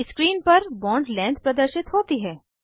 अब स्क्रीन पर bond length प्रदर्शित होती है